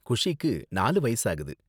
குஷிக்கு நாலு வயசாகுது.